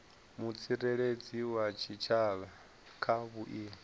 mutsireledzi wa tshitshavha kha vhuimo